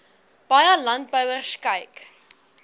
baie landbouers kyk